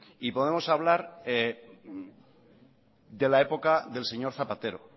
y podemos hablar de la época del señor zapatero